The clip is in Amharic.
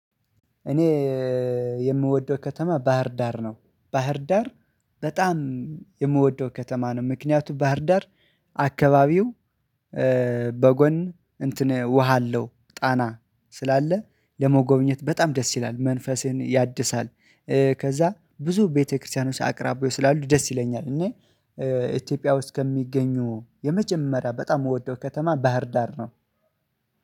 እኔ የምወደው ከተማ ባህርዳር ነው ባህርዳር በጣም የምወደው ከተማ ነው። ምክንያቱም ባህርዳር አካባቢው በጎን እንትን ውሃ አለው ጣና ስላለ ለመጎብኘት በጣም ደስ ይላል መንፈስን ያድሳል። ከዛ ብዙ ቤተክርስቲያኖች አቅራቢው ስላሉ ደስ ይለኛል። እኔ ኢትዮጵያ ውስጥ ከሚገኙ የመጀመሪያ በጣም የምወደው ከተማ ባህር ዳር ነው።